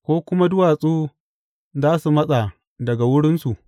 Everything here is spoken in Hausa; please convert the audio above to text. Ko kuma duwatsu za su matsa daga wurinsu?